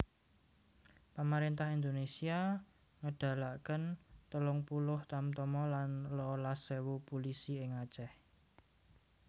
Pamaréntah Indonésia ngedalaken telung puluh tamtama lan rolas ewu pulisi ing Aceh